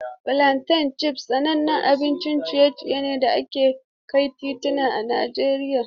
Fulanten chips sanannen abincin ciye-ciye ne a kan titi a Najeriya.